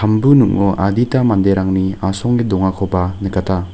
ningo adita manderangni asonge dongakoba nikata.